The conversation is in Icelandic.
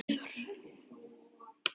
Fyrst Viðar.